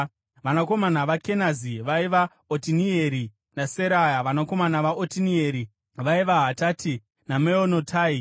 Vanakomana vaKenazi vaiva: Otinieri naSeraya. Vanakomana vaOtinieri vaiva: Hatati naMeonotai.